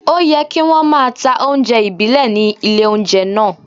Òyẹ kí wón máa ta oúnjẹ ìbílẹ̀ ní ilé oúnjẹ náà.